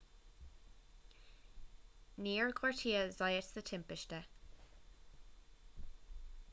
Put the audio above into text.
níor gortaíodh zayat sa timpiste